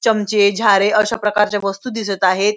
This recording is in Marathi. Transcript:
चमचे झारे अशा प्रकारचे वस्तु दिसत आहेत.